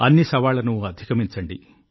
అన్ని సవాళ్లను అధిగమించండి